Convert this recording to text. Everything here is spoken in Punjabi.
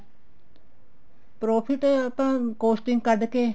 profit ਹੀ ਤਾਂ costing ਕੱਡ ਕੇ